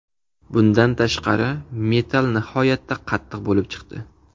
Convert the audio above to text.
Bundan tashqari, metall nihoyatda qattiq bo‘lib chiqdi.